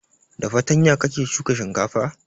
Da fartanya kake shuka shinkafa?